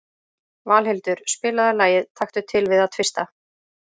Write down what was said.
Valhildur, spilaðu lagið „Taktu til við að tvista“.